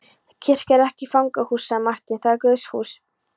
Kirkja er ekki fangahús, sagði Marteinn,-það er Guðshús.